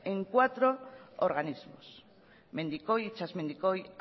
en cuatro organismos mendikoi itsasmendikoi